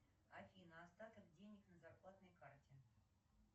афина остаток денег на зарплатной карте